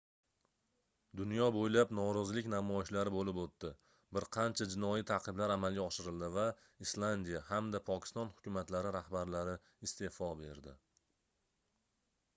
dunyo boʻylab norozilik namoyishlari boʻlib oʻtdi bir qancha jinoiy taʼqiblar amalga oshirildi va islandiya hamda pokiston hukumatlari rahbarlari isteʼfo berdi